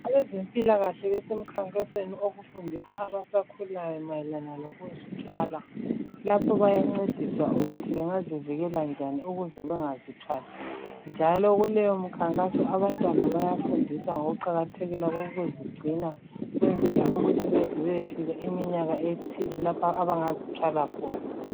Abezempilakahle besemkhankasweni okufundisa abasakhulayo mayelana lokuzithwala lapho bayancediswa ukuthi bengazivikela njani ukuze bengazithwali njalo kuleyo mkhankaso abantwana bayafundiswa ngokuqakathekela kokuzigcina ukwenzela ukuthi beze beyefka iminyaka ethile lapho abangazi thwala khona .